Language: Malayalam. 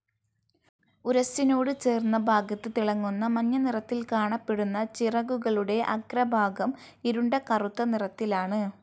ഉരസ്സിനോട് ചേർന്ന ഭാഗത്ത് തിളങ്ങുന്ന മഞ്ഞ നിറത്തിൽ കാണപ്പെടുന്ന ചിറകുകളുടെ അഗ്രഭാഗം ഇരുണ്ട കറുത്ത നിറത്തിലാണ്.